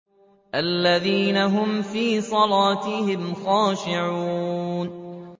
الَّذِينَ هُمْ فِي صَلَاتِهِمْ خَاشِعُونَ